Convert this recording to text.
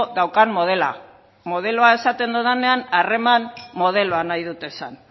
daukan modela modeloa esaten dudanean harreman modeloa nahi dut esan